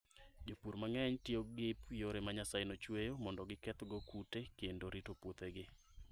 Jopur mang'eny tiyo gi yore ma Nyasaye nochueyo mondo gikethgo kute kendo rito puothegi.